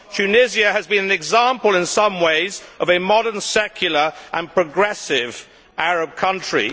Tunisia has been an example, in some ways, of a modern, secular and progressive Arab country.